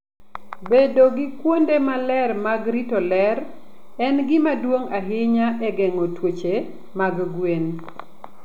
Bedo gi kuonde maler mag rito ler en gima duong' ahinya e geng'o tuoche mag gwen.